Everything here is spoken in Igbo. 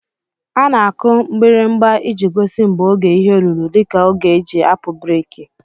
Ana akụ mgbirimgba iji gosi mgbe ógè ihe lụrụ dika ógè eji apụ breeki.